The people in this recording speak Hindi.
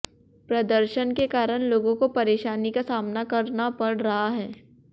प्रदर्शन के कारण लोगों को परेशानी का सामना करना पड़ रहा है